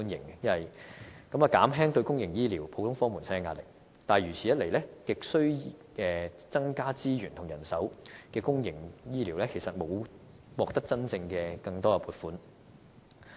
此舉亦可以減輕公營醫療普通科門診的壓力，但如此一來，亟需增加資源和人手的公營醫療服務，其實便是沒有獲得更多真正撥款的。